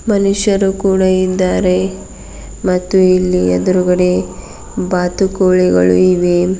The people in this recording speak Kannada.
ಮನುಷ್ಯರು ಕೂಡ ಇದ್ದಾರೆ ಮತ್ತು ಇಲ್ಲಿ ಎದ್ರುಗಡೆ ಬಾತುಕೋಳಿಗಳು ಇವೆ.